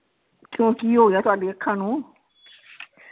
ਕਿਉਂ? ਕੀ ਹੋਗਿਆ ਤੁਹਾਡੀ ਅੱਖਾਂ ਨੂੰ?